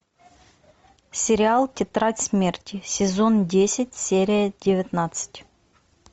сериал тетрадь смерти сезон десять серия девятнадцать